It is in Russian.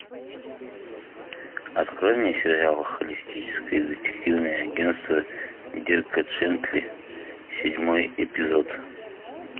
открой мне сериал холистическое детективное агентство дирка джентли седьмой эпизод